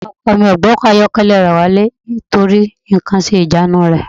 Ọkọ mi ò gbé ọkọ̀ ayọ́kẹ́lẹ́ rẹ̀ wálé nítorí nǹkan ń ṣe ìjánu rẹ̀